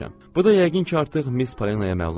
Bu da yəqin ki, artıq Miss Palenaya məlumdur.